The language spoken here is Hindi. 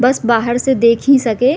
बस बाहर से देख ही सके --